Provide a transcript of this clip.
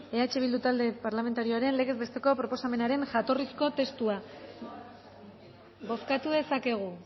eh bildu talde parlamentarioaren legez besteko proposamenaren jatorrizko testua bozkatu dezakegu